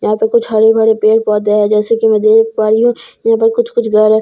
यहां पर कुछ हरे भरे पेड़ पौधे है जैसे कि मैं देख पा रही हूं यहां पर कुछ कुछ घर है जैसे कि --